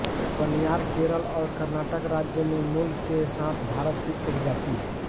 कनियार केरल और कर्नाटक राज्यों में मूल के साथ भारत की एक जाति हैं